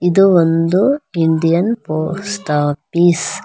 ಇದು ಒಂದು Indian post office .